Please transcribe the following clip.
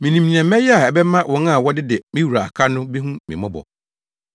Minim nea mɛyɛ a ɛbɛma wɔn a wɔdede me wura aka no behu me mmɔbɔ.’